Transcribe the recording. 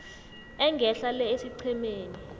engehla le esiqhemeni